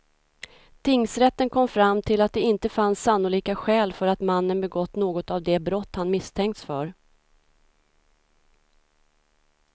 Tingsrätten kom fram till att det inte fanns sannolika skäl för att mannen begått något av de brott han misstänkts för.